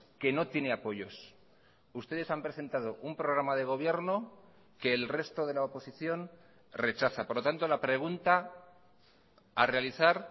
que no tiene apoyos ustedes han presentado un programa de gobierno que el resto de la oposición rechaza por lo tanto la pregunta a realizar